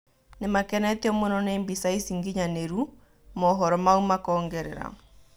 "Nĩmakenetio mũno nĩ mbica ici nginyanĩru," mohoro mau makongerera.